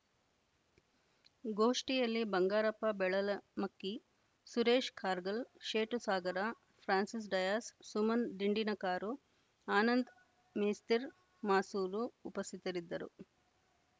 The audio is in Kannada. ಗೋಷ್ಠಿಯಲ್ಲಿ ಬಂಗಾರಪ್ಪ ಬೆಳಲಮಕ್ಕಿ ಸುರೇಶ್‌ ಕಾರ್ಗಲ್‌ ಶೇಟು ಸಾಗರ ಫ್ರಾನ್ಸಿಸ್‌ ಡಯಾಸ್‌ ಸುಮನ್‌ ದಿಂಡಿನಕಾರು ಆನಂದ್‌ ಮೇಸ್ತಿರ್ ಮಾಸೂರು ಉಪಸ್ಥಿತರಿದ್ದರು